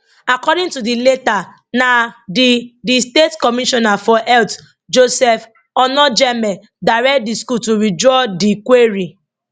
according to di letter na di di state commissioner for health joseph onojaeme direct di school to withdraw di query